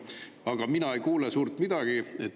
Aga mina ei kuule suurt midagi.